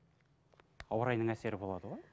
ауа райының әсері болады ғой